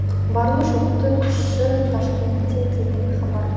барлы жоқты күші ташкентте деген хабар бар